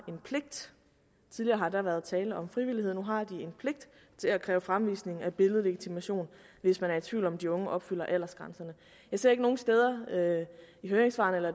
en pligt tidligere har der været tale om frivillighed nu har de en pligt til at kræve fremvisning af billedlegitimation hvis man er i tvivl om at de unge opfylder aldersgrænserne jeg ser ikke nogen steder i høringssvarene eller